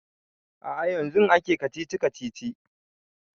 A'a yanzun ake kacici-kacici